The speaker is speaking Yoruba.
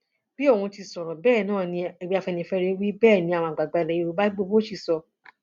bí òun ti sọrọ bẹẹ náà ni ẹgbẹ afẹnifẹre wí bẹẹ ni àwọn àgbààgbà ilẹ yorùbá gbogbo sì sọ